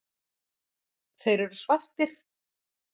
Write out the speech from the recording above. Þeir eru svartir.